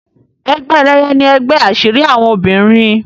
Egbe Eléye ní ègbé asiri àwọn obìrin.